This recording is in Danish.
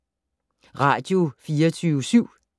Radio24syv